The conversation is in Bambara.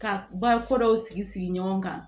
Ka ba ko dɔw sigi sigi ɲɔgɔn kan